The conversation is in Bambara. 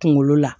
Kunkolo la